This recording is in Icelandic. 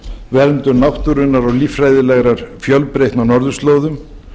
verndun náttúrunnar og líffræðilegrar fjölbreytni á norðurslóðum